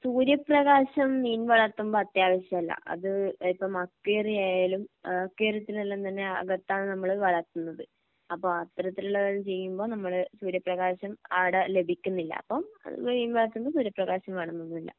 സൂര്യപ്രകാശം മീൻ വളർത്തുമ്പോ അത്യാവശ്യമല്ല അത് ഇപ്പം അക്വേറിയം ആയാലും ഏഹ് അക്വേറിയത്തിൽ എല്ലാം തന്നെ അകത്താണ് നമ്മള് വളർത്തുന്നത് അപ്പോ അത്തരത്തിലുള്ളത് ചെയ്യുമ്പോ നമ്മള് സൂര്യപ്രകാശം ആടെ ലഭിക്കുന്നില്ല അപ്പം മീൻ വളർത്തുന്നതിന് സൂര്യപ്രകാശം വേണമെന്നൊന്നുമില്ല